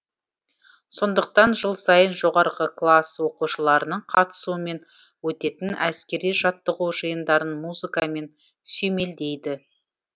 сондықтан жыл сайын жоғарғы класс оқушыларының қатысуымен өтетін әскери жаттығу жиындарын музыкамен сүйемелдейді